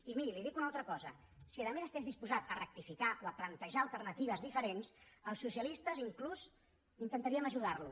i miri li dic una altra cosa si a més estigués disposat a rectificar o a plantejar alternatives diferents els socialistes inclús intentaríem ajudar lo